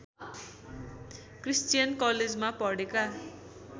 Christian कलेजमा पढेका